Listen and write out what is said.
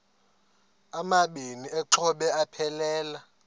amabini exhobe aphelela